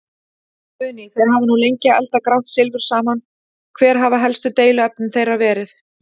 Guðný: Þeir hafa nú lengi eldað grátt silfur saman, hver hafa helstu deiluefni þeirra verið?